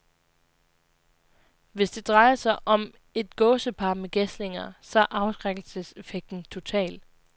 Hvis det drejer sig om et gåsepar med gæslinger, så er afskrækkelseseffekten total.